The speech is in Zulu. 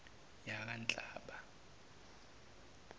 yakanhlaba